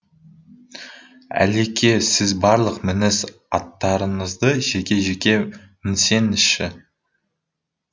әлеке сіз барлық мініс аттарыңызды жеке жеке мінсеңізші